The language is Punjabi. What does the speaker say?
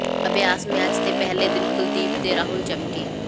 ਅਭਿਆਸ ਮੈਚ ਦੇ ਪਹਿਲੇ ਦਿਨ ਕੁਲਦੀਪ ਤੇ ਰਾਹੁਲ ਚਮਕੇ